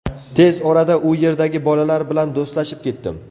Tez orada u yerdagi bolalar bilan do‘stlashib ketdim.